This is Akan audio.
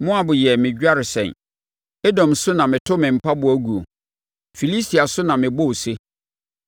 Moab yɛ me dwaresɛn, Edom so na meto me mpaboa guo; Filistia so na mebɔ ose.”